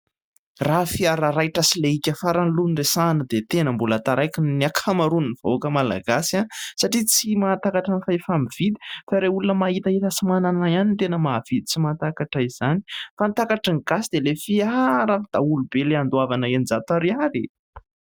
Raha fiara raitra sy laika farany aloha ny resahana dia tena mbola taraiky ny ny akamaroan'ny vahoaka malagasy satria tsy mahatakatra ny fahefa-mividy fa ireo olona mahitahita sy manana ihany ny tena mahavidy sy mahatakatra izany fa ny takatry ny Gasy dia ilay fiaran'ny daholobe andoavana eninjato ariary e !